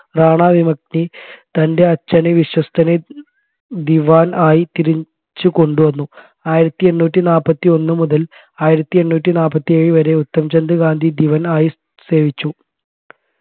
റാണ വിമുക്തി തൻെറ അച്ഛൻെറ വിശ്വസ്തനെ ദിവാൻ ആയി തിരിച്ചു കൊണ്ടുവന്നു ആയിരത്തി എണ്ണൂറ്റി നാൽപ്പത്തി ഒന്ന് മുതൽ ആയിരത്തി എണ്ണൂറ്റി നാൽപ്പത്തി ഏഴ് വരെ ഉത്തമചന്ദ് ഗാന്ധി ദിവാൻ ആയി സേവിച്ചു